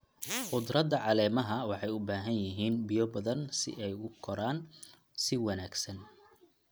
Khudradda caleemaha waxay u baahan yihiin biyo badan si ay u koraan si wanaagsan.